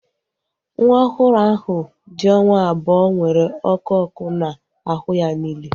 Nwa ọhụrụ ahu dị onwa abụọ nwere ọkụ ọkụ na ahụ ya niile